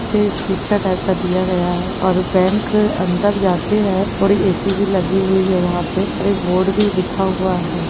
निचे टाइप का दिया गया है और बैंक अंदर जाके है और ए सी भी लगी हुयी है वहा पे एक बोर्ड भी लिखा हुआ है।